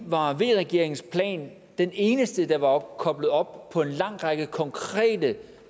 var v regeringens plan den eneste der var koblet op på en lang række konkrete